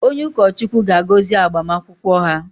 Onye ụkọchukwu ga-agọzi agbamakwụkwọ ha